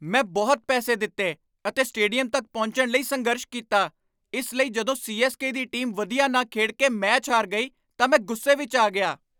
ਮੈਂ ਬਹੁਤ ਪੈਸੇ ਦਿੱਤੇ ਅਤੇ ਸਟੇਡੀਅਮ ਤੱਕ ਪਹੁੰਚਣ ਲਈ ਸੰਘਰਸ਼ ਕੀਤਾ, ਇਸ ਲਈ ਜਦੋਂ ਸੀ.ਐੱਸ.ਕੇ. ਦੀ ਟੀਮ ਵਧੀਆ ਨਾ ਖੇਡ ਕੇ ਮੈਚ ਹਾਰ ਗਈ ਤਾਂ ਮੈਂ ਗੁੱਸੇ ਵਿੱਚ ਆ ਗਿਆ।